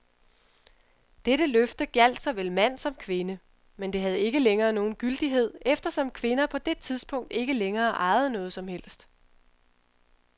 Dette løfte gjaldt såvel mand som kvinde, men det havde ikke længere nogen gyldighed, eftersom kvinder på det tidspunkt ikke længere ejede noget som helst.